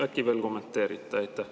Äkki veel kommenteerite?